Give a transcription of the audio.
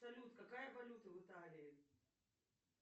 салют какая валюта в италии